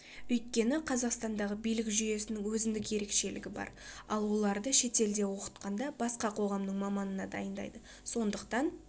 өйткені қазақстандағы билік жүйесінің өзіндік ерекшелігі бар ал оларды шетелде оқытқанда басқа қоғамның маманына дайындайды сондықтан